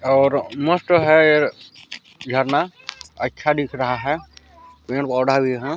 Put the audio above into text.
और मस्त है ये झरना अच्छा दिख रहा है। ]